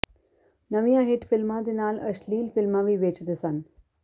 ਨਵੀਆਂ ਹਿੱਟ ਫਿਲਮਾਂ ਦੇ ਨਾਲ ਅਸ਼ਲੀਲ ਫਿਲਮਾਂ ਵੀ ਵੇਚਦੇ ਸਨ